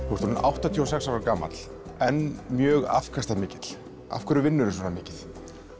þú ert orðinn áttatíu og sex ára gamall enn mjög afkastamikill af hverju vinnurðu svona mikið